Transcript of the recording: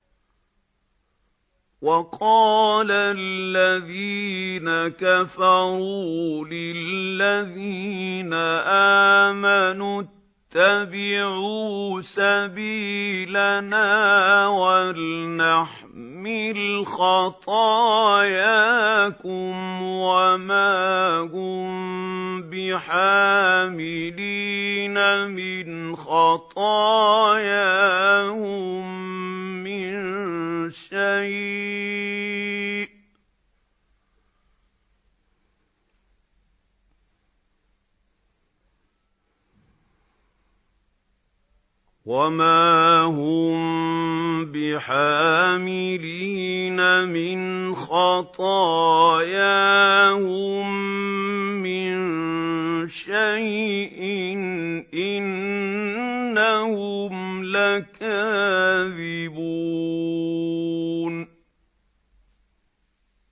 وَقَالَ الَّذِينَ كَفَرُوا لِلَّذِينَ آمَنُوا اتَّبِعُوا سَبِيلَنَا وَلْنَحْمِلْ خَطَايَاكُمْ وَمَا هُم بِحَامِلِينَ مِنْ خَطَايَاهُم مِّن شَيْءٍ ۖ إِنَّهُمْ لَكَاذِبُونَ